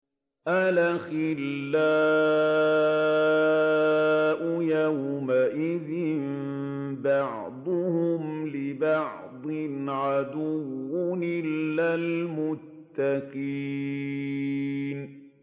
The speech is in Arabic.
الْأَخِلَّاءُ يَوْمَئِذٍ بَعْضُهُمْ لِبَعْضٍ عَدُوٌّ إِلَّا الْمُتَّقِينَ